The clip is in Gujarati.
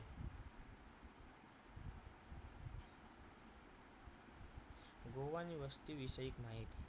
ગોવા ની વસ્તી વિશે એક માહિતી